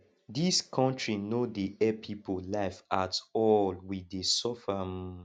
dis country no dey help people life at all we dey suffer um